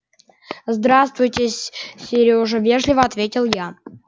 здравствуйте с сёрежа вежливо ответил я